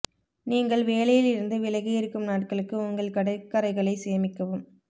நீங்கள் வேலையில் இருந்து விலகி இருக்கும் நாட்களுக்கு உங்கள் கடற்கரைகளை சேமிக்கவும்